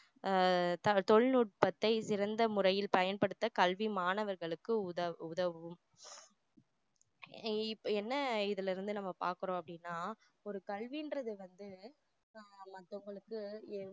ஆஹ் தா~ தொழில்நுட்பத்தை சிறந்த முறையில் பயன்படுத்த கல்வி மாணவர்களுக்கு உத~ உதவும் இப்போ என்ன இதுல இருந்து பார்க்குறோம் அப்படின்னா ஒரு கல்வின்றது வந்து மத்தவங்களுக்கு